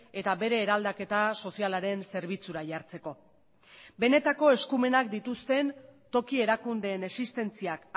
eta bere eraldaketa sozialaren zerbitzura jartzeko benetako eskumenak dituzten toki erakundeen existentziak